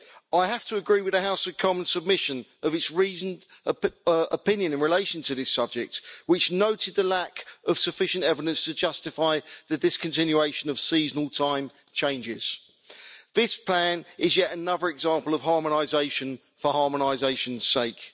I have to agree with the House of Commons submission of its reasoned opinion in relation to this subject, which noted the lack of sufficient evidence to justify the discontinuation of seasonal time changes. This plan is yet another example of harmonisation for harmonisation's sake.